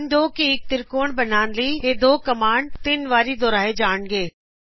ਹੁਣ ਨੋਟ ਕਰੋ ਇਕ ਤ੍ਰਿਕੋਣ ਬਣਾਉਣ ਲਈ ਇਹ ਦੋ ਕਮਾਂਡਜ਼ ਤਿੰਨ ਵਾਰ ਦੁਹਰਾਏ ਜਾਣਗੇ